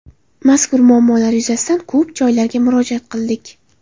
Mazkur muammolar yuzasidan ko‘p joylarga murojaat qildik.